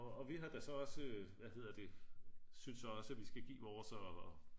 og vi har da så også hvad hedder det synes også vi skal give vores og